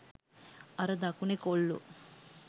අර දකුණෙ කොල්ලෝ